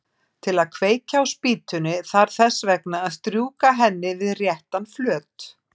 Til að kveikja á spýtunni þarf þess vegna að strjúka henni við réttan flöt.